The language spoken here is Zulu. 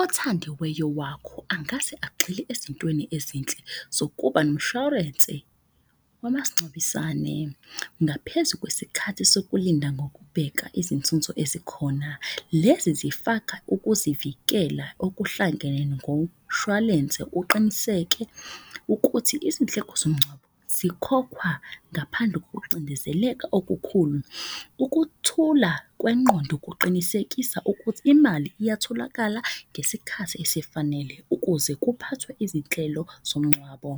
Othandiweyo wakho angase agxile ezintweni ezinhle zokuba nomshwarense wamasingcwabisane. Ngaphezu kwesikhathi sokulinda ngokubheka izinzunzo ezikhona. Lezi zifaka ukuzivikela okuhlangene ngomshwalense uqiniseke ukuthi izindleko zomngcwabo zikhokha ngaphandle kokucindezeleka okukhulu. Ukuthula kwengqondo kuqinisekisa ukuthi imali iyatholakala ngesikhathi esifanele ukuze kuphathwe izinhlelo zomngcwabo